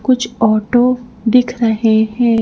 कुछ ऑटो दिख रहे हैं।